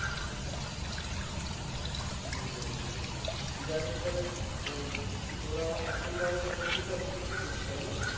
বুজলাম বুজলাম যাইহোক তবে তোরা এখন ধর কপিটা বিক্রি করছিস তাই না